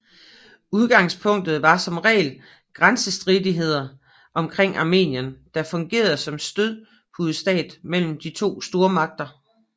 Udgangspunktet var som regel grænsestridigheder omkring Armenien der fungerede som stødpudestat mellem de to stormagter